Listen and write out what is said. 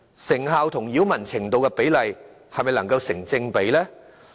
成效與擾民程度的比例是否成正比呢？